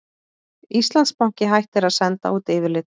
Íslandsbanki hættir að senda út yfirlit